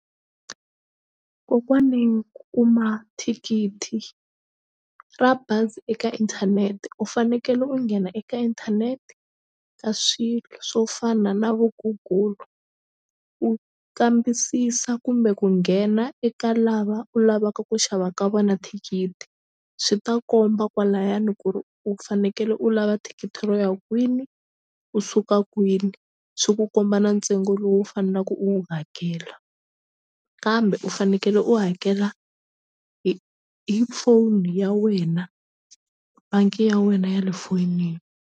Kokwani ku kuma thikithi ra bazi eka inthanete u fanekele u nghena eka inthanete ka swilo swo fana na vo Google u kambisisa kumbe ku nghena eka lava u lavaka ku xava ka vona thikithi swi ta komba kwalayani ku ri u fanekele u lava thikithi ro ya kwini u suka kwini swi ku komba na ntsengo lowu u fanelaku u wu hakela kambe u fanekele u hakela hi hi phone ya wena bangi ya wena ya le foyinini.